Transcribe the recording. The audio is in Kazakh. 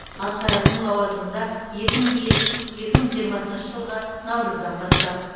атқаратын лауазымында екі мың жиырмасыншы жылғы наурыздан бастап